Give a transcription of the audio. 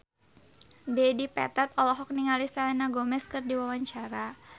Dedi Petet olohok ningali Selena Gomez keur diwawancara